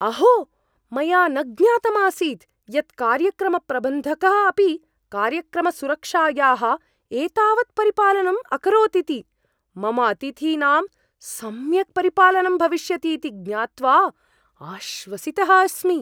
अहो! मया न ज्ञातम् आसीत् यत् कार्यक्रमप्रबन्धकः अपि कार्यक्रमसुरक्षायाः एतावत् परिपालनं अकरोत् इति! मम अतिथीनां सम्यक् परिपालनं भविष्यतीति ज्ञात्वा आश्वसितः अस्मि।